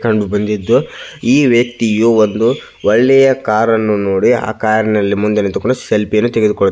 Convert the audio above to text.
ಕಂಡು ಬಂದಿದ್ದ್ದು ಈ ವ್ಯಕ್ತಿಯು ಒಳ್ಳೆಯ ಕಾರ್ ಅನ್ನು ನೋಡಿ ಆ ಕಾರ್ ಅಲ್ಲಿ ಮುಂದೆ ನಿಂತುಕೊಂಡು ಸೆಲ್ಫಿ ಯನ್ನು ತೆಗೆದುಕೊಳ್ಳು --